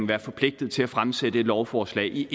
være forpligtet til fremsætte et lovforslag i